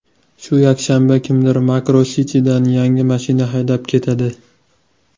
Shu yakshanba kimdir Makro City’dan yangi mashina haydab ketadi!.